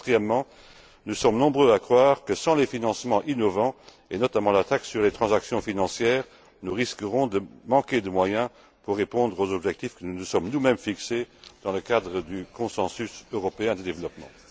Quatrièmement, nous sommes nombreux à croire que sans les financements innovants, et notamment la taxe sur les transactions financières, nous risquons de manquer de moyens pour répondre aux objectifs que nous nous sommes nous mêmes fixés dans le cadre du consensus européen de développement.